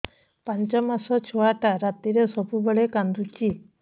ପାଞ୍ଚ ମାସ ଛୁଆଟା ରାତିରେ ସବୁବେଳେ କାନ୍ଦୁଚି